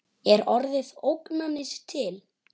Er orðið ógnanir til?